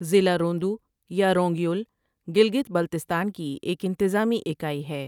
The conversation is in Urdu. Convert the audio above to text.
ضلع روندو یا رونگ یُل گلگت بلتستان کی ایک انتظامی اکائی ہے ۔